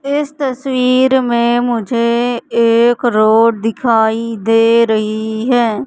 इस तस्वीर में मुझे एक रोड दिखाई दे रही है।